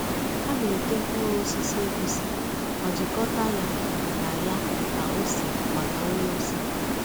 Ha na-ete mkpuru osisi egusi ma jikọta ya na ya na ose maka nri ose.